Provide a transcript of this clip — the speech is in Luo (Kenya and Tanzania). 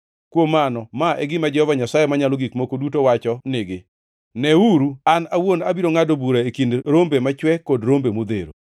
“ ‘Kuom mano ma e gima Jehova Nyasaye Manyalo Gik Moko Duto wacho nigi: Neuru, an awuon abiro ngʼado bura e kind rombe machwe kod rombe modhero.